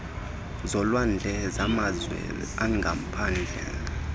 zolwandle zamazwe angaphandle